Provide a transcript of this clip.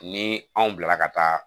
Ni anw bilara ka taa